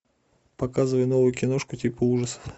показывай новую киношку типа ужасов